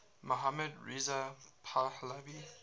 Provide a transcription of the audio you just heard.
mohammad reza pahlavi